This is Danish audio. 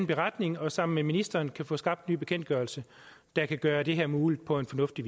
beretning og sammen med ministeren kan få skabt en ny bekendtgørelse der kan gøre det her muligt på en fornuftig